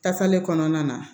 Kasalen kɔnɔna na